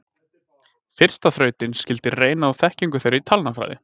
Fyrsta þrautin skyldi reyna á þekkingu þeirra í talnafræði.